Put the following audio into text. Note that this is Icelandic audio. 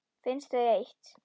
Finnst þau eitt.